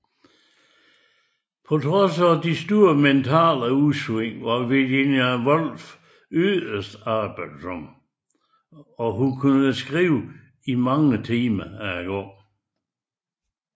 På trods af de store mentale udsving var Virginia Woolf yderst arbejdsom og kunne skrive mange timer ad gangen